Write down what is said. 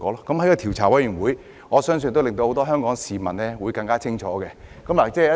我相信調查委員會的工作，會令很多香港市民更清楚真相。